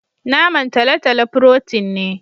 naman talotalo "protein " ne.